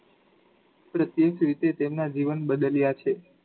પ્રત્યેક રીતે તેમના જીવન બદલ્યા છે.